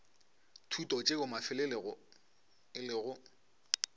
thuto tšeo mafelelong e lego